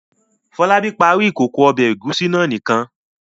Fọlábí parí ìkókó ọbẹ̀ ẹ̀gúsí náà nìkan.